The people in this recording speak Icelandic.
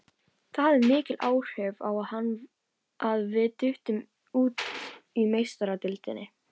Það hafði mikil áhrif á hann að við duttum út í Meistaradeildinni.